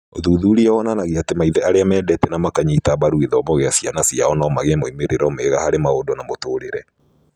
Ũthuthuria wonanagia atĩ maithe arĩa mendete na makanyita mbaru githomo kĩa ciana ciao no magĩe moimĩrĩro mega harĩ maũndũ ma mũtũũrĩre